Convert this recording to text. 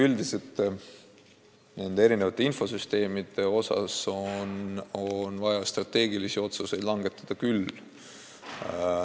Üldiselt on erinevate infosüsteemide kohta vaja strateegilisi otsuseid langetada küll.